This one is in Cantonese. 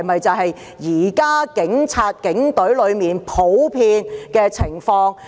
這是否現時警隊內的普遍情況？